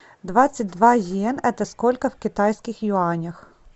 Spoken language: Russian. двадцать два йен это сколько в китайских юанях